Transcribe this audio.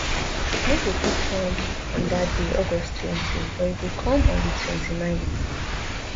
no go fit come on dat day august twenty but e go come on di twenty-nineth